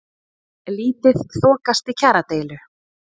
Lítið þokast í kjaradeilu